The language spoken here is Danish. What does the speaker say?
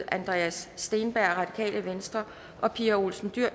andreas steenberg og pia olsen dyhr